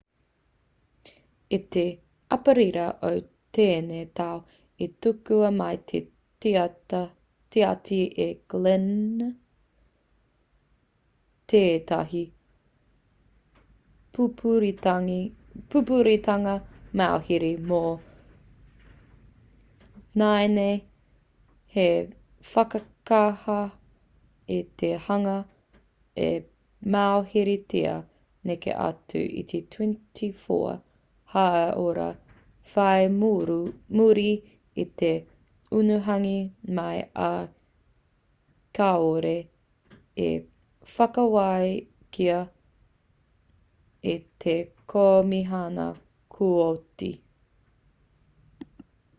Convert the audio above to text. i te aperira o tēnei tau i tukua mai e te tiati e glynn tētahi pupuritanga mauhere mō nāianei hei whakakaha i te hunga i mauheretia neke atu i te 24 haora whai muri i te unuhanga mai ā kāore i whakawākia e te komihana kooti